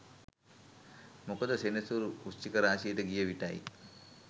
මොකද සෙනසුරු වෘශ්චික රාශියට ගිය විටයි